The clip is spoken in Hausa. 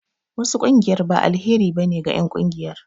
Wasu ƙungiyar ba alheri ba ne ge en ƙungiyar